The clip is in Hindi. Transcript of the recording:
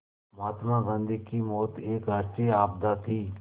महात्मा गांधी की मौत एक राष्ट्रीय आपदा थी